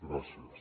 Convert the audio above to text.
gràcies